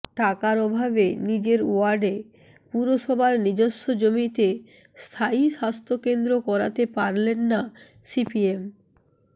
টাকার অভাবে নিজের ওয়ার্ডে পুরসভার নিজস্ব জমিতে স্থায়ী স্বাস্থ্যকেন্দ্র করাতে পারলেন না সিপিএম